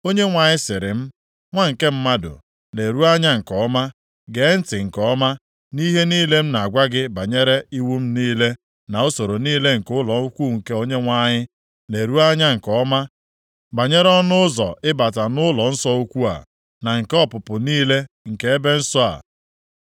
Onyenwe anyị sịrị m, “Nwa nke mmadụ, leruo anya nke ọma, gee ntị nke ọma nʼihe niile m na-agwa gị banyere iwu m niile na usoro niile nke ụlọnsọ ukwu nke Onyenwe anyị. Leruo anya nke ọma banyere ọnụ ụzọ ịbata nʼụlọnsọ ukwu a, na nke ọpụpụ niile nke ebe nsọ a.